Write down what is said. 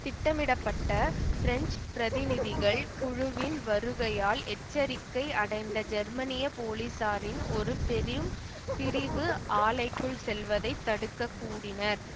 திட்டமிடப்பட்ட பிரெஞ்சு பிரதிநிதிகள் குழுவின் வருகையால் எச்சரிக்கை அடைந்த ஜெர்மனிய போலீஸாரின் ஒரு பெரும் பிரிவு ஆலைக்குள் செல்வதை தடுக்கக் கூடினர்